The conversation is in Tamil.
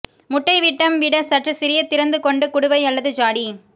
முட்டை விட்டம் விட சற்று சிறிய திறந்து கொண்டு குடுவை அல்லது ஜாடி